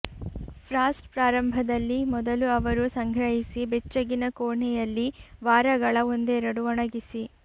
frost ಪ್ರಾರಂಭದಲ್ಲಿ ಮೊದಲು ಅವರು ಸಂಗ್ರಹಿಸಿ ಬೆಚ್ಚಗಿನ ಕೋಣೆಯಲ್ಲಿ ವಾರಗಳ ಒಂದೆರಡು ಒಣಗಿಸಿ